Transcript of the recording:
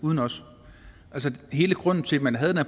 uden os hele grunden til at man havde det